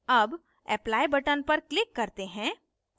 अब apply button पर click करते हैं